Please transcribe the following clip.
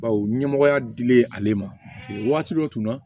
Bawo ɲɛmɔgɔya dilen ale ma paseke waati dɔ tun na